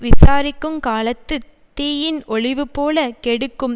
விசாரிக்குங்காலத்துத் தீயின் ஒழிவுபோலக் கெடுக்கும்